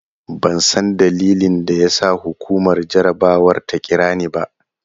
Ban san dalilin da ya sa hukumar jarabawar ta kira ni ba.